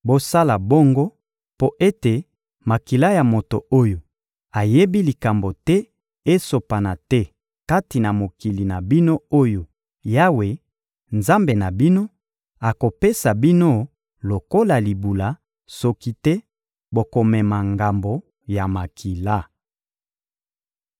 Bosala bongo mpo ete makila ya moto oyo ayebi likambo te esopana te kati na mokili na bino oyo Yawe, Nzambe na bino, akopesa bino lokola libula, soki te bokomema ngambo ya makila.